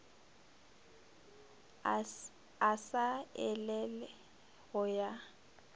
a sa elele go ya